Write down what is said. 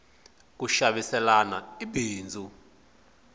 ku xaviselana i bindzu